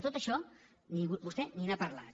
de tot això vostè ni n’ha parlat